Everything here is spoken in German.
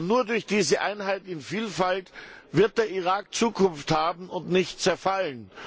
Nur durch diese Einheit in Vielfalt wird der Irak Zukunft haben und nicht zerfallen.